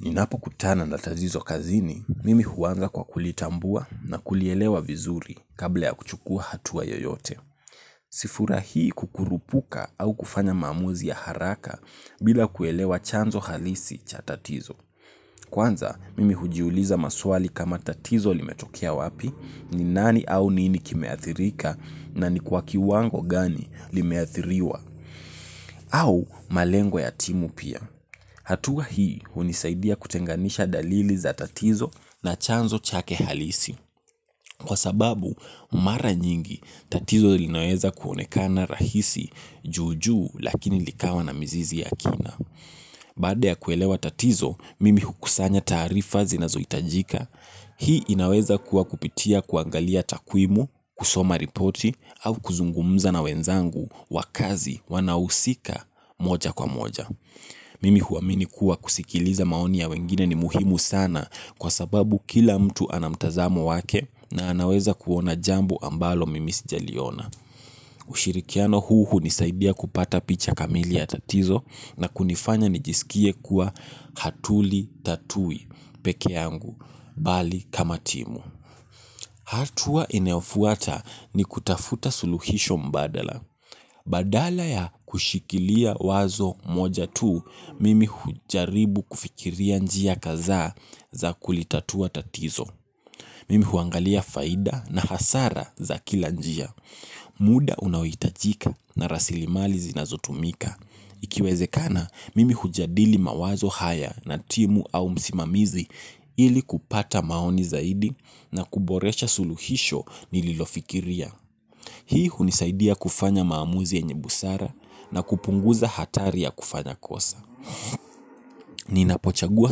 Ninapo kutana na tatizo kazini, mimi huanza kwa kulitambua na kulielewa vizuri kabla ya kuchukua hatua yoyote. Sifurahii kukurupuka au kufanya maamuzi ya haraka bila kuelewa chanzo halisi cha tatizo. Kwanza, mimi hujiuliza maswali kama tatizo limetokea wapi, ni nani au nini kimeathirika na ni kwa kiwango gani limeathiriwa. Au malengwa ya timu pia. Hatua hii unisaidia kutenganisha dalili za tatizo na chanzo chake halisi. Kwa sababu mara nyingi tatizo linaweza kuonekana rahisi juu juu lakini likawa na mizizi ya kina. Baada ya kuelewa tatizo, mimi hukusanya taarifa zinazohitajika. Hii inaweza kuwa kupitia kuangalia takuimu, kusoma ripoti, au kuzungumza na wenzangu wa kazi, wanahusika, moja kwa moja. Mimi huaamini kuwa kusikiliza maoni ya wengine ni muhimu sana kwa sababu kila mtu anamtazamo wake na anaweza kuona jambo ambalo mimi sijaliona. Ushirikiano huu hunisaidia kupata picha kamili ya tatizio na kunifanya nijisikie kuwa hatulitatui peke yangu bali kama timu. Hatua inayo fuata ni kutafuta suluhisho mbadala. Badala ya kushikilia wazo moja tuu, mimi hujaribu kufikiria njia kadha za kulitatua tatizo. Mimi huangalia faida na hasara za kila njia. Muda unaohitajika na rasilimali zinazotumika. Ikiwezekana, mimi hujadili mawazo haya na timu au msimamizi ili kupata maoni zaidi na kuboresha suluhisho nililofikiria. Hii hunisaidia kufanya maamuzi yenye busara na kupunguza hatari ya kufanya kosa. Ninapochagua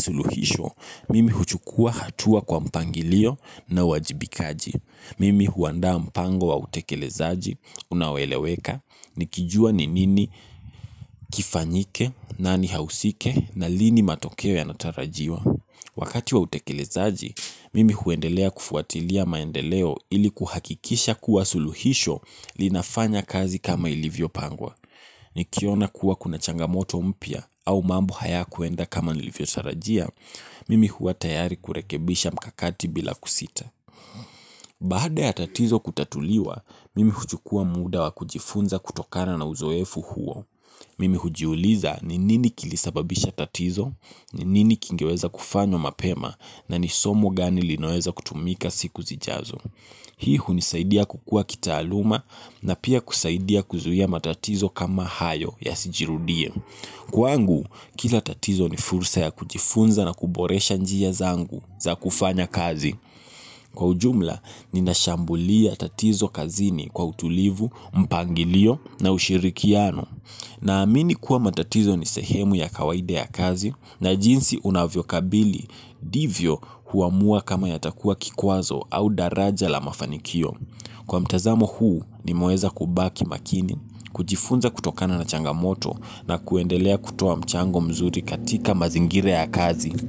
suluhisho, mimi huchukua hatua kwa mpangilio na wajibikaji. Mimi huanda mpango wa utekelezaji, unaoeleweka, nikijua ni nini kifanyike, nani ahusike, na lini matokeo yanatarajiwa. Wakati wa utekelezaji, mimi huendelea kufuatilia maendeleo ili kuhakikisha kuwa suluhisho linafanya kazi kama ilivyo pangwa. Nikiona kuwa kuna changamoto mpya au mambo haya kuenda kama nilivyo tarajia, mimi huwa tayari kurekebisha mkakati bila kusita. Baada ya tatizo kutatuliwa, mimi huchukua muda wa kujifunza kutokana na uzoefu huo. Mimi hujiuliza ni nini kilisababisha tatizo, ni nini kingeweza kufanywa mapema na nisomo gani linaweza kutumika siku zijazo. Hii hunisaidia kukua kitaaluma na pia kusaidia kuzuia matatizo kama hayo yasijirudie. Kwangu, kila tatizo ni fursa ya kujifunza na kuboresha njia zangu za kufanya kazi. Kwa ujumla, ninashambulia tatizo kazini kwa utulivu, mpangilio na ushirikiano. Naamini kuwa matatizo ni sehemu ya kawaida ya kazi na jinsi unavyo kabili ndivyo huamua kama yatakua kikwazo au daraja la mafanikio. Kwa mtazamo huu, ni mweza kubaki makini, kujifunza kutokana na changamoto na kuendelea kutoa mchango mzuri katika mazingira ya kazi.